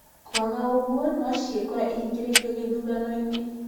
Kwaga ũguo no ciekore ihingĩrĩirio gĩthurano-inĩ.